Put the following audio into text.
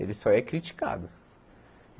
Ele só é criticado.